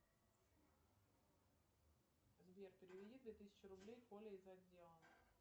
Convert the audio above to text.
сбер переведи две тысячи рублей коле из отдела